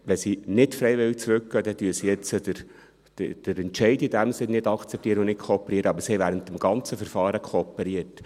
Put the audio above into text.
Wenn sie nicht freiwillig zurückgehen, dann akzeptieren sie jetzt den Entscheid in diesem Sinne nicht und kooperieren nicht, aber sie haben während des ganzen Verfahrens kooperiert.